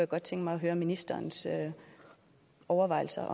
godt tænke mig at høre ministerens overvejelser